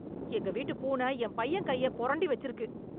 எங்க வீட்டுப் பூன என் பையன் கையப் புரண்டி வெச்சுருக்கு.